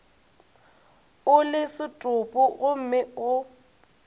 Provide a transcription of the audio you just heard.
o le setopo gomme go